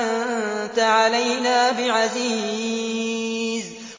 أَنتَ عَلَيْنَا بِعَزِيزٍ